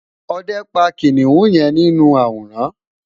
òde pa kiniun yen ninu aworan